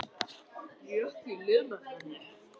Gekk í lið með henni.